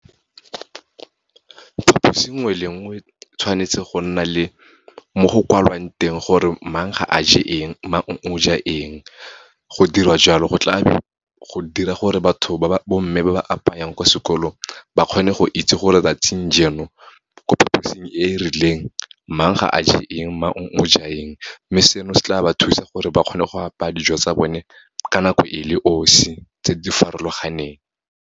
Phaposi nngwe le nngwe, tshwanetse go nna le mo go kwalwang teng gore mang ga a je eng, mang o ja eng. Go dirwa jalo, go dira gore bomme ba ba apayang ko sekolong, ba kgone go itse gore 'tsatsing jeno, ko phaposing e e rileng, mang ga a je eng, mang o ja eng. Mme seno, se tla ba thusa gore ba kgone go apaya dijo tsa bone, ka nako e le 'osi, tse di farologaneng.